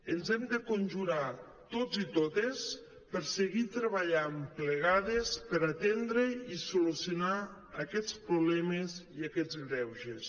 ens hem de conju·rar tots i totes per seguir treballant plegades per atendre i solucionar aquests pro·blemes i aquests greuges